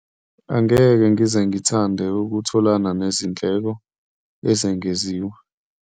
Angeke ngize ngithande ukutholana nezindleko ezengeziwe.